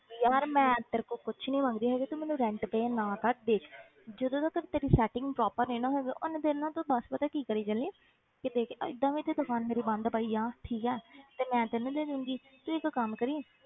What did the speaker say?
ਯਾਰ ਮੈਂ ਤੇਰੇ ਕੋਲੋਂ ਕੁਛ ਨੀ ਮੰਗਦੀ ਹੈਗੀ ਤੂੰ ਮੈਨੂੰ rent pay ਨਾ ਕਰ ਦੇਖ ਜਦੋਂ ਤੱਕ ਤੇਰੀ setting proper ਨੀ ਨਾ ਹੁੰਦੀ ਉਨੀ ਦੇਰ ਨਾ ਤੂੰ ਬਸ ਪਤਾ ਕੀ ਕਰੀ ਚੱਲੀ ਕਿ ਦੇਖ ਏਦਾਂ ਵੀ ਤੇ ਦੁਕਾਨ ਮੇਰੀ ਬੰਦ ਪਈ ਆ ਠੀਕ ਹੈ ਤੇ ਮੈਂ ਤੈਨੂੰ ਦੇ ਦਊਂਗੀ ਤੂੰ ਇੱਕ ਕੰਮ ਕਰੀਂ,